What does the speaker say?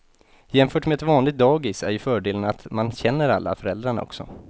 Jämfört med ett vanligt dagis är ju fördelen att man känner alla föräldrarna också.